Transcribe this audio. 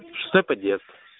шестой подъезд